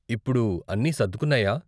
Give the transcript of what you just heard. ఇప్పుడు అన్నీ సర్దుకున్నాయా ?